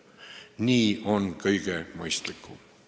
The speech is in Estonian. Nii on kõige mõistlikum.